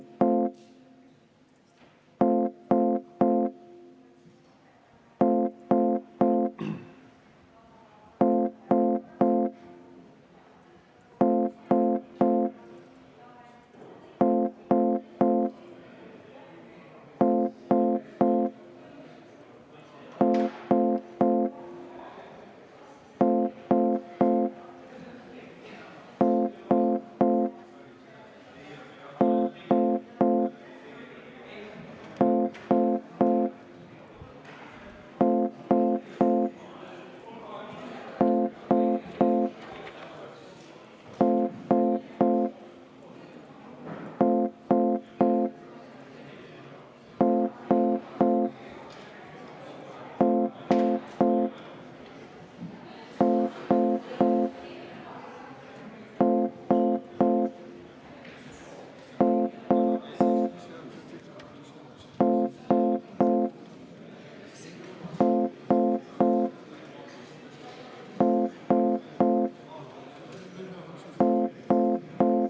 Head kolleegid!